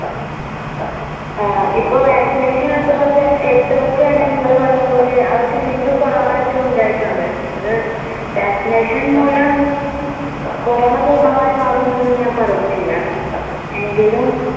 ആ ഇപ്പോ vaccination എടുത്ത് എടുത്തവർക്ക് തന്നെ നിങ്ങൾ പറഞ്ഞ പോലെ അവർക്ക് വീണ്ടും കൊറോണ ഒക്കെ ഉണ്ടായിട്ടുണ്ട്. അത് vaccination മൂലം കൊറോണ പൂർണമായി മാറുന്നൊന്നും ഞാൻ പറയുന്നില്ല. എങ്കിലും